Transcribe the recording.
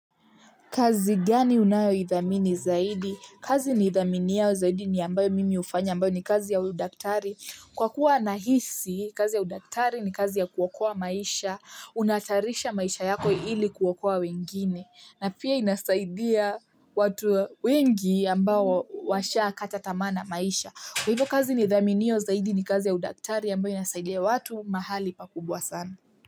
Kazi gani unayo dhamini zaidi? Kazi ni dhamini yao zaidi ni ambayo mimi hufanya ambayo ni kazi ya udaktari. Kwa kuwa nahisi, kazi ya udaktari ni kazi ya kuokoa maisha, unatarisha maisha yako ili kuokoa wengine. Na pia inasaidia watu wengi ambao washaa kataa tamaa na maisha. Kwa hivo kazi ni dhamini yao zaidi ni kazi ya udaktari ambayo inasaidia watu mahali pakubwa sana.